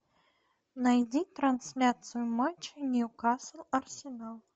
найди трансляцию матча ньюкасл арсенал